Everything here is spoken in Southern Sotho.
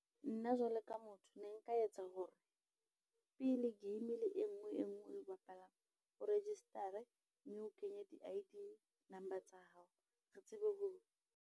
Nna jwalo ka motho ne nka etsa hore pele game e nngwe le e nngwe eo o e bapalang o register-e mme o kenye di-I _D number tsa hao re tsebe ho.